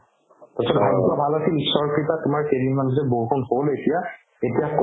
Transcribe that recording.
পিছত ভাগ্য ভাল আছিল ঈশ্বৰৰ কৃপাত তোমাৰ কেইদিনমান পিছত বহু কম হ'ল এতিয়া এতিয়া কমি